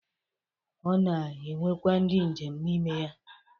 O na-enwekwa ndi njem n' ime ya